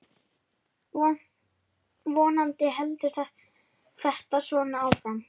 Vonandi heldur þetta svona áfram.